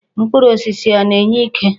Mkpụrụ osisi ọ na-enye ike?